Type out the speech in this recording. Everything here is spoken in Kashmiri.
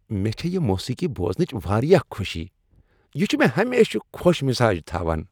مےٚ چھےٚ یہ موسیقی بوزنٕچ واریاہ خوشی۔ یہ چھ مےٚ ہمیشہٕ خوش مزاج تھاوان۔